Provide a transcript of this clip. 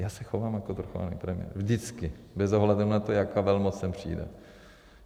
Já se chovám jako svrchovaný premiér vždycky, bez ohledu na to, jaká velmoc sem přijde.